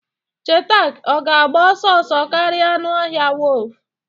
cheetah ọ ga-agba ọsọ ọsọ karịa anụ ọhịa wolf?